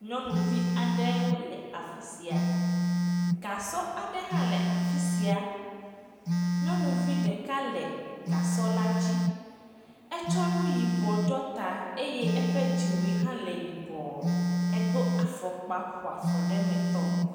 Nyɔnuvi aɖewo le afi sia. Gasɔ aɖe hã le afi sia. Nyɔnuvi ɖeka le gasɔ la dzi. Etsɔ nuyibɔ ɖɔ ta eye eƒe dziwui hã le yibɔ. Edo afɔkpa ƒoafɔɖemetɔ.